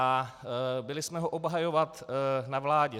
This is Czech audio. A byli jsme ho obhajovat na vládě.